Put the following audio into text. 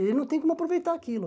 Ele não tem como aproveitar aquilo.